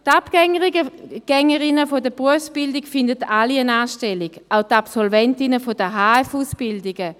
Die Abgängerinnen der Berufsbildung finden alle eine Anstellung, auch die Absolventinnen der HF-Ausbildungen.